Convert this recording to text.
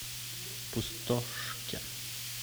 пустошке